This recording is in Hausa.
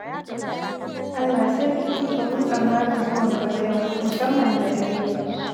Allah sarki, ba mu yi tsammanin zuwanka ba yau, musamman da dare!